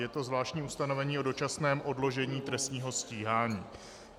Je to zvláštní ustanovení o dočasném odložení trestního stíhání.